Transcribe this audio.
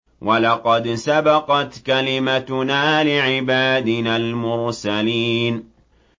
وَلَقَدْ سَبَقَتْ كَلِمَتُنَا لِعِبَادِنَا الْمُرْسَلِينَ